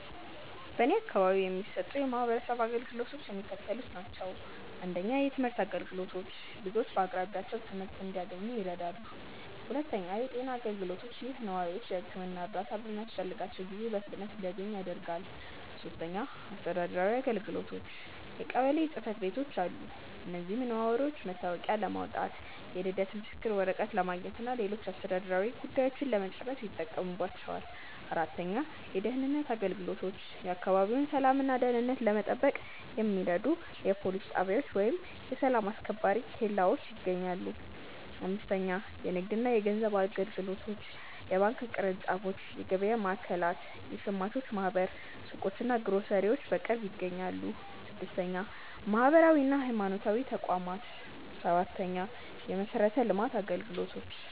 በእኔ አካባቢ የሚሰጡ የማህበረሰብ አገልግሎቶች የሚከተሉት ናቸው:- 1. የትምህርት አገልግሎቶች፦ ልጆች በአቅራቢያቸው ትምህርት እንዲያንኙ ይረዳሉ። 2. የጤና አገልግሎቶች፦ ይህ ነዋሪዎች የሕክምና እርዳታ በሚያስፈልጋቸው ጊዜ በፍጥነት እንዲያገኙ ያደርጋል። 3. አስተዳደራዊ አገልግሎቶች፦ የቀበሌ ጽሕፈት ቤቶች አሉ። እዚህም ነዋሪዎች መታወቂያ ለማውጣት፣ የልደት ምስክር ወረቀት ለማግኘትና ሌሎች አስተዳደራዊ ጉዳዮችን ለመጨረስ ይጠቀሙባቸዋል። 4. የደህንነት አገልግሎቶች፦ የአካባቢውን ሰላምና ደህንነት ለመጠበቅ የሚረዱ የፖሊስ ጣቢያዎች ወይም የሰላም አስከባሪ ኬላዎች ይገኛሉ። 5. የንግድና የገንዘብ አገልግሎቶች፦ የባንክ ቅርንጫፎች፣ የገበያ ማዕከላት፣ የሸማቾች ማኅበር ሱቆችና ግሮሰሪዎች በቅርብ ይገኛሉ። 6. ማህበራዊና ሃይማኖታዊ ተቋማት፦ 7. የመሠረተ ልማት አገልግሎቶች